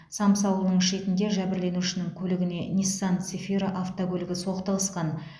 самсы ауылының шетінде жәбірленушінің көлігіне ниссан цефиро автокөлігі соқтығысқан